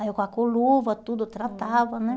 Aí eu com a com luva, tudo, tratava, né?